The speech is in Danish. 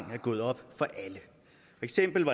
eksempel